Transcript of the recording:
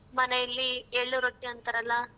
ಮನೇಲಿ ಎಳ್ಳು ರೊಟ್ಟಿ ಅಂತರಲ್ಲ.